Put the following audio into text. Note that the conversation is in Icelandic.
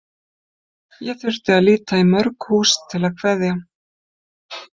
Ég þurfti að líta í mörg hús til að kveðja.